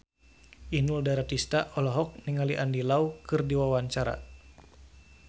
Inul Daratista olohok ningali Andy Lau keur diwawancara